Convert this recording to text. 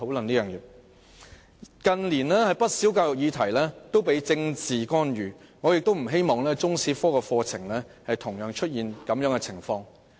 近年，不少教育議題都受到政治干預，我不希望中史科出現相同情況。